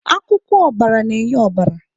Akwụkwọ ọbara na-enye ọbara.